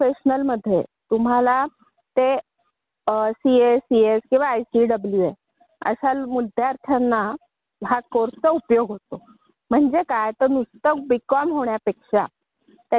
त्या मध्ये असं लिहिलं होतं की नुसतं बीकॉम व्हायचं आहे की प्रोफेशनल बीकॉम प्रोफेशनल त्यात तुला असा फरक असतो की तुम्ही यूपीएससी सीए सीएस आयसीडब्ल्यूअशा विद्यार्थ्यांना